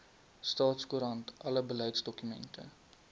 staatskoerant alle beleidsdokumente